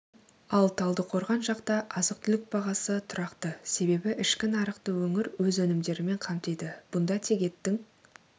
ал талдықорған жақта азық-түлік бағасы тұрақты себебі ішкі нарықты өңір өз өнімдерімен қамтиды бұнда тек еттің